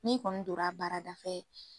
N'i kɔni dora a baara dafɛ